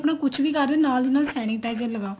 ਹੁਣ ਕੁੱਛ ਵੀ ਕਰ ਰਹੇ ਨਾਲ ਦੀ ਨਾਲ sanitizer ਲਗਾਓ